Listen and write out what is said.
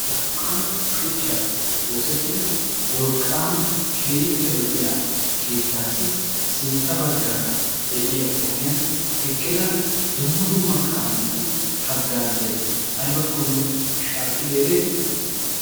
zammana shuchchaappe oosettida wolqqaama keeyippe lo'iya kiittaassi sintta baggaara de'iya ogiyan eqqida dumma dumma kaametu haggaazay aybakkonne shaakkidi ereetii?